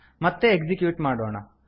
ಮತ್ತೆ ಎಕ್ಸಿಕ್ಯೂಟ್ ಮಾಡೋಣ